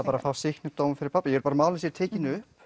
bara fá sýknudóm fyrir pabba ég vil að málin séu tekin upp